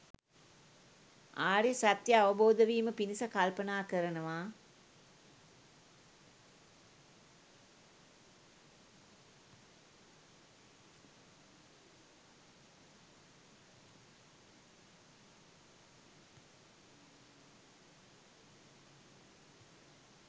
ආර්ය සත්‍යය අවබෝධ වීම පිණිස කල්පනා කරනවා.